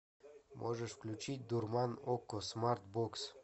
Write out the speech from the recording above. можешь включить дурман окко смарт бокс